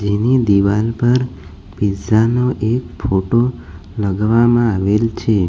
એની દિવાલ પર પીઝા નો એક ફોટો લગાવવામાં આવેલ છે.